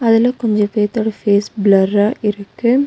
அதுல கொஞ்ச பேர்த்தோட ஃபேஸ் ப்ளர்ரா இருக்கு.